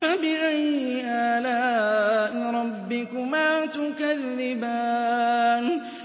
فَبِأَيِّ آلَاءِ رَبِّكُمَا تُكَذِّبَانِ